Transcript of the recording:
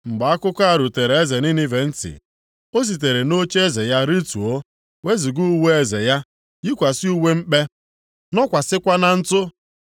Mgbe akụkọ a rutere eze Ninive ntị, o sitere nʼocheeze ya rituo, wezuga uwe eze ya, yikwasị uwe mkpe, nọkwasịkwa na ntụ.